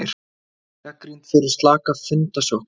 Gagnrýnd fyrir slaka fundasókn